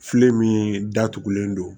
Filen min datugulen don